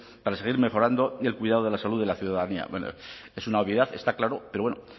para seguir mejorando y el cuidado de la salud de la ciudadanía es una obviedad está claro pero bueno